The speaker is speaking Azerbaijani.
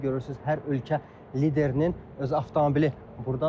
Görürsünüz hər ölkə liderinin öz avtomobili burdadır.